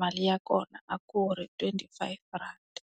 mali ya kona a ku ri twenty-five rhandi.